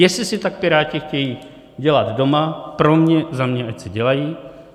Jestli si tak Piráti chtějí dělat doma, pro mě za mě, ať si dělají.